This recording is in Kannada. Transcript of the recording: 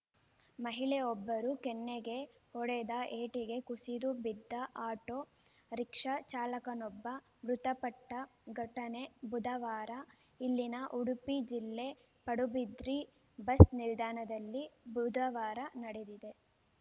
ಮಹಿಳೆಯೊಬ್ಬರು ಕೆನ್ನೆಗೆ ಹೊಡೆದ ಏಟಿಗೆ ಕುಸಿದು ಬಿದ್ದ ಆಟೋ ರಿಕ್ಷಾ ಚಾಲಕನೊಬ್ಬ ಮೃತಪಟ್ಟಘಟನೆ ಬುಧವಾರ ಇಲ್ಲಿನ ಉಡುಪಿ ಜಿಲ್ಲೆ ಪಡುಬಿದ್ರಿ ಬಸ್‌ ನಿಲ್ದಾಣದಲ್ಲಿ ಬುಧವಾರ ನಡೆದಿದೆ